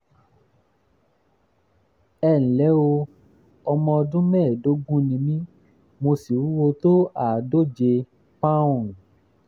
ẹ ǹlẹ́ o ọmọ ọdún mẹ́ẹ̀ẹ́dógún ni mí mo sì wúwo tó àádóje um pọ́nùn ( thirty um pounds)